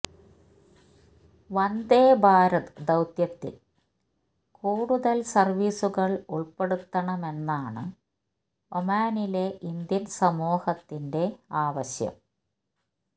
വന്ദേ ഭാരത് ദൌത്യത്തില് കൂടുതൽ സർവീസുകൾ ഉൾപെടുത്തണമെന്നാണ് ഒമാനിലെ ഇന്ത്യൻ സമൂഹത്തിന്റെ ആവശ്യം